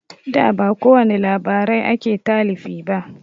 Da ba kowani labarai ake talifi ba